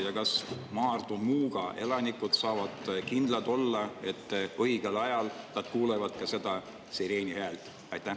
Ja kas Maardu, Muuga elanikud saavad kindlad olla, et õigel ajal nad kuulevad ka seda sireeni häält?